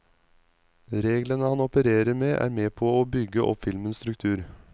Reglene han operer med er med på å bygge opp filmens struktur.